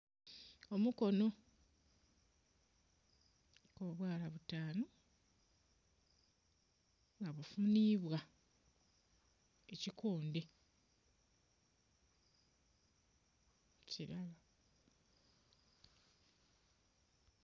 Omukono guliku obwala butanu nga bufunibwa ekikondhe kirala.